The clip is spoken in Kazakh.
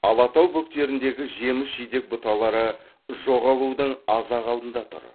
алатау бөктеріндегі жеміс жидек бұталары жоғалудың аз ақ алдында тұр